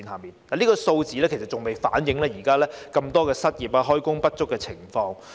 然而，這些數字尚未反映現時這麼多失業、開工不足的情況。